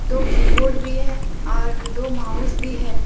दो कीबोर्ड भी है और दो माउस भी है।